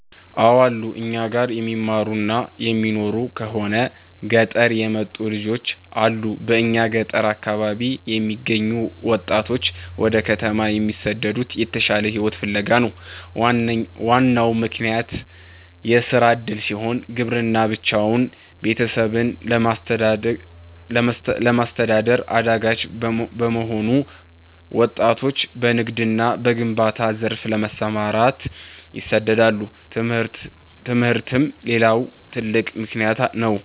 አው አሉ, እኛ ጋር የሚማሩና የሚኖሩ ከሆነ ገጠር የመጡ ልጆች አሉ በእኛ ገጠር አካባቢ የሚገኙ ወጣቶች ወደ ከተማ የሚሰደዱት የተሻለ ሕይወትን ፍለጋ ነው። ዋናው ምክንያት የሥራ ዕድል ሲሆን፣ ግብርና ብቻውን ቤተሰብን ለማስተዳደር አዳጋች በመሆኑ ወጣቶች በንግድና በግንባታ ዘርፍ ለመሰማራት ይሰደዳሉ። ትምህርትም ሌላው ትልቅ ምክንያት ነው።